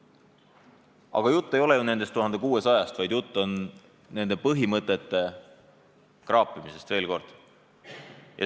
Aga jutt ei ole ju nendest 1600-st, vaid jutt on nende põhimõtete kraapimisest veel kord.